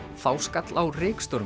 þá skall á